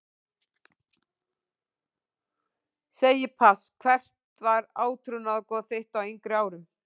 Segi pass Hvert var átrúnaðargoð þitt á yngri árum?